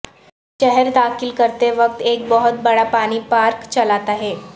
شہر داخل کرتے وقت ایک بہت بڑا پانی پارک چلاتا ہے